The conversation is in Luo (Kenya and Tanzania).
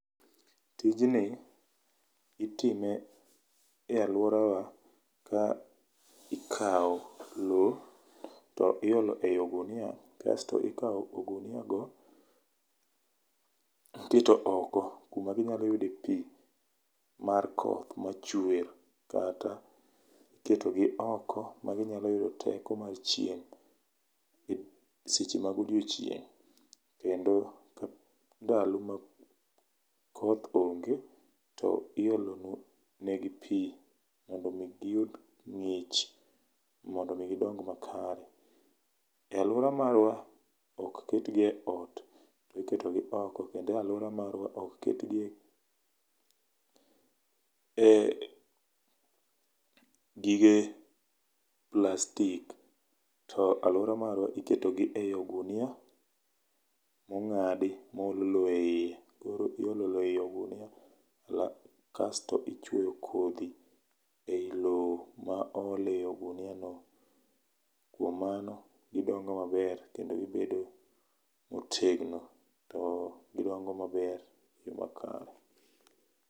Tijni itime e alworawa ka ikao lowo, to iolo ei ogunia, kasto ikao ogunia go, tiketo oko kuma ginyalo yudo pii mar koth machwee kata iketo gi oko ma ginyalo yudo teko mar chieng' seche ma godiocheng'. Kendo ndalo ma koth onge, to iolo negi pii mondo mii giyud ng'ich, mondo mii gidong ma kare. E alwora marwa, ok ketgi e ot, iketo gi oko, kendo e alwora marwa ok ketgi e gige plastic. To alwora marwa, iketo gi ei ogunia, mong'adi mo ol lowo eiye. Koro iolo lowo ei ogunia kasto ichweyo kodhi ei lowo ma ool ei ogunia no, kuom mano gidongo maber, kendo gibedo motegno, to gidongo maber e yo makare.